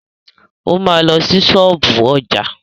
O ma lọ sí ṣọ́ọ̀bú ọjà.